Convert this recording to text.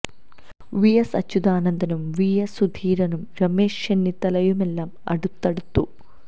V S അച്യുതാനന്ദനും V M സുധീരനും രമേശ് ചെന്നിത്തലയുമെല്ലാം അടുത്തടുത്ത്